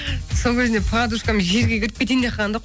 сол кезінде подружкам жерге кіріп кетейін деп қалған да